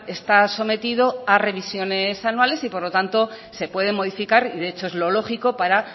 está sometido a revisiones anuales y por lo tanto se puede modificar y de hecho es lo lógico para